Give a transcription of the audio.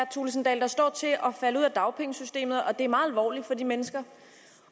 thulesen dahl der står til at falde ud af dagpengesystemet og det er meget alvorligt for de mennesker